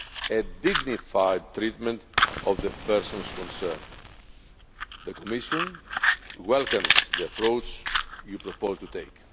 the dignified treatment of the persons concerned. The Commission welcomes the approach Parliament proposes to take.